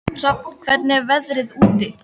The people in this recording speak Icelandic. Hrafn, hvernig er veðrið úti?